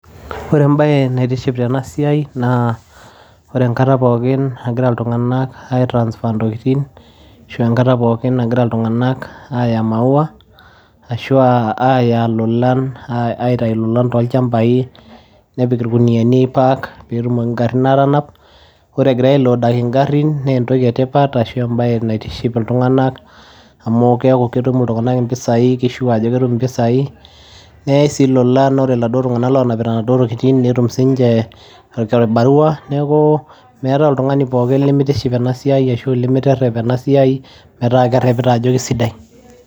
Wore ebaye naitiship tena siai naa wore enkata pookin nagira iltunganak ai transfer intokitin ashu enkata pookin nagira iltunganak aya mauwa ashua aya ilulan aitayu ilolan toolchampai nipik irkuniani ai pack peetumoki ingarin aatanap wore egira load ingarin nee entoki etipat ashu ebaye naitiship iltunganak, amu keaku ketum iltunganak impisai kii sure ajo ketum impisai neyai sii ilulan, wore iladuo tunganak oonapita naduo tokitin netum siininje orkibarua. Niaku meetai oltungani pookin lemitiship enasiai, ashu lemiterep enasiai metaa kerepita ajo isidai.